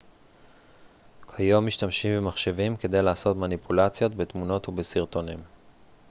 כיום משתמשים במחשבים כדי לעשות מניפולציות בתמונות ובסרטונים